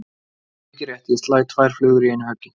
Mikið rétt, ég slæ tvær flugur í einu höggi.